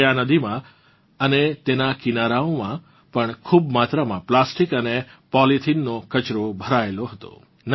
જોકે આ નદીમાં અને તેનાં કિનારાઓમાં પણ ખૂબ માત્રામાં પ્લાસ્ટિક અને પોલીથીનનો કચરો ભરાયેલો હતો